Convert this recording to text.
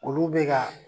Olu bɛ ka